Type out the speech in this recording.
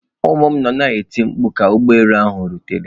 Ụmụ m nọ na-eti mkpu ka ụgbọ elu ahụ rutere.